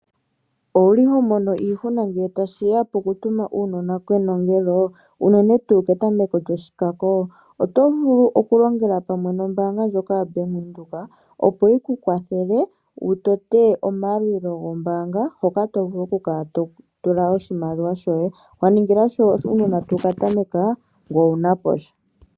Owu li ho mono iihuna ngele tashi ya poku tuma uunona kenongelo? Unene tuu ketameko lyoshikako, oto vulu oku longela pamwe nombaanga ndjoka yoBank Windhoek opo yi ku kwathele wu tote omayalulilo gombaanga, hoka to vulu oku kala totula oshimaliwa shoye. Wa ningila sho uunona tawu ka tameka, ngoye owu na posha.